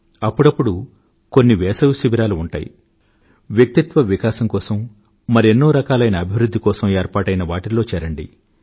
అప్పుడప్పుడు కొన్ని వేసవి శిబిరాలు ఉంటాయి వ్యక్తిత్వ వికాసం కోసం మరెన్నో రకాలైన అభివృధ్ధి కోసం ఏర్పాటైన వాటిల్లో చేరండి